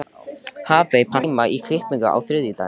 Hafey, pantaðu tíma í klippingu á þriðjudaginn.